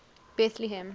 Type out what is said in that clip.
bethlehem